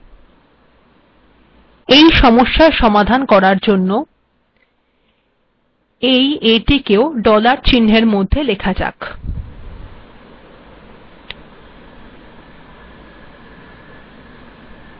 এই aটিকেও ডলার চিহ্নের মাধ্যমে লেখার মাধ্যমে এই সমস্যার সমাধান করা যায়